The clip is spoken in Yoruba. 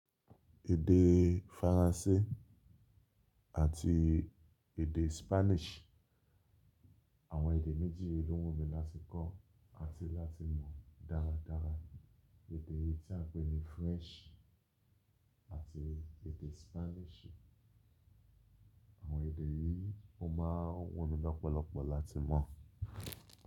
Èdè faransé àti èdè Spanish àwọn èdè méjì lo wun mi láti kọ́ àti láti mọ̀ dáradára. Èdè tí a ń pè ní French àti èdè Spanish. Àwọn èdè yìí ó máa wùn mí lọ́pọ̀lọpọ̀ láti mọ̀.